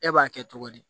E b'a kɛ cogo di